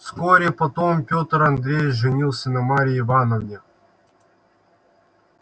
вскоре потом пётр андреевич женился на марье ивановне